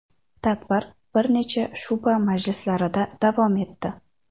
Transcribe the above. Tadbir bir necha shu’ba majlislarida davom etdi.